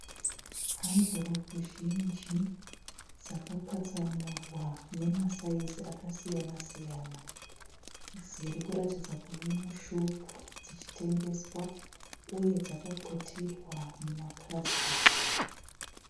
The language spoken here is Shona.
Hamvuropu zhinji dzakapatsanurwa nemasaizi akasiyana siyana dziri kuratidza kuve mushopu dzichitengeswa uye dzakaputirwa mumapurasitiki.